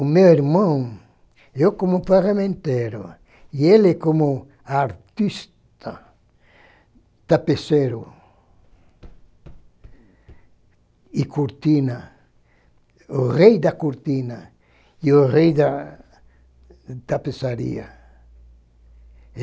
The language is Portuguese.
O meu irmão, eu como ferramenteiro, e ele como artista tapeceiro e cortina, o rei da cortina e o rei da tapeçaria.